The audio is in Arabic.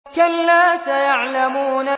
كَلَّا سَيَعْلَمُونَ